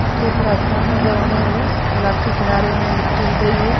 इसके ऊपर आसमान नजर आ रहा है तालाब के किनारे में मिट्टी दिख रही है।